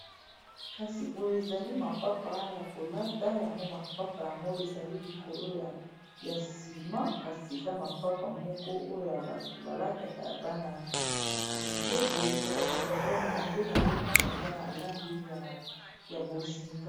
Kasi boyo ezali mapapa ya kolata yango mapapa, yango ezali likolo ya nsima kasi eza mapapa moko oyo bato balataka ya bana mike boye kasi yango nde nazomona eza na lagi ya bozinga.